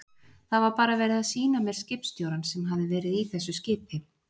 Það var bara verið að sýna mér skipstjórann sem hafði verið í þessu skipi.